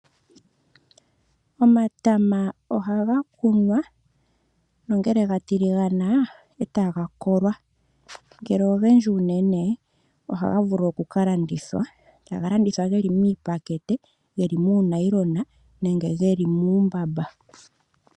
Omatama ohaga kunwa, nongele ga tiligana e ta ga kolwa. Ngele ogendji unene ohaga vulu oku ka landithwa, taga landithwa ge li miipakete, geli muunayilona nenge ge li muumbamba.